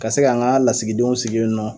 Ka se ka n ka lasigidenw sigi yen nɔ